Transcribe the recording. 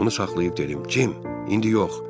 Onu saxlayıb dedim: "Cim, indi yox.